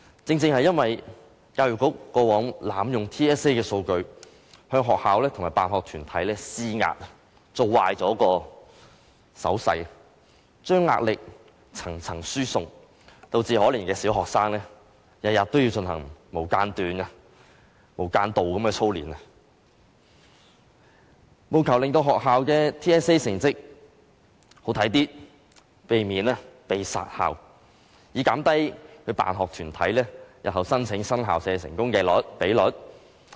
正正因為教育局過往濫用 TSA 的數據，向學校和辦學團體施壓，做壞手勢，將壓力層層輸送，導致可憐的小學生天天也要進行無間斷的操練，務求令學校的 TSA 成績好看一些，避免被"殺校"，或減低辦學團體日後申請新校舍的成功比率。